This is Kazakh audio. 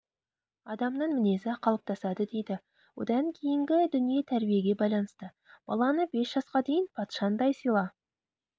адамның мінезі қалыптасады дейді одан кейінгі дүние тәрбиеге байланысты баланы бес жасқа дейін патшаңдай сыйла